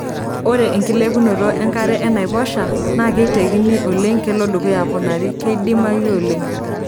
Ore enkilepunoto enkare enaiposha naa keitekini oleng kelo dukuya aponari[keidimayu oleng].